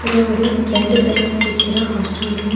இது ஒரு ரெண்டு பெட் இருக்கிற ஹாஸ்டல் ரூம் .